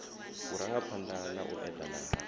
vhurangaphanda na u edana ha